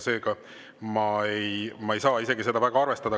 Seega ma ei saa isegi seda arvestada.